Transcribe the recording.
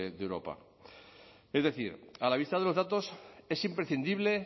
de europa es decir a la vista de los datos es imprescindible